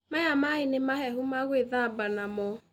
Maya maaĩ ni mahehu magwĩthamba namo.